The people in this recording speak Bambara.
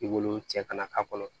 I b'olu cɛ kana k'a kɔnɔ